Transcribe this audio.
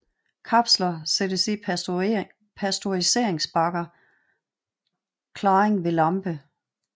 Kapsler sættes i pasteuriseringsbakker klaring ved lampe